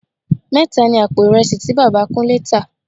Mẹ́ta ni àpò ìrẹsì tí Bàbá Kúnlé tá